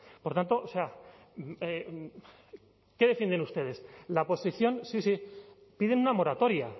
por tanto o sea qué defienden ustedes la posición sí sí piden una moratoria